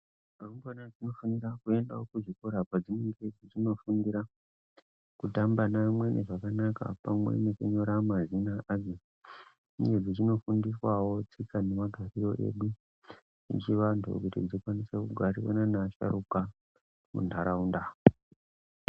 Rumbwana dzinofanira kuendawo kuzvikora kwadzinenge dzichinofundira kutamba neamweni zvakanaka pamwe nekunyora mazina adzo. Uye dzichinofundiswawo tsika nemagariro edu echivantu kuti dzikwanise kugarisana neasharuka muntaraunda.